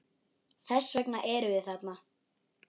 Þess vegna erum við þarna.